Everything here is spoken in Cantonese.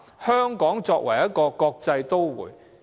香港是一個國際都會。